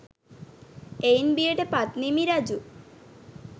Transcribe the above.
එයින් බියට පත් නිමි රජු